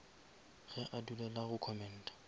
ge a dulela go commenta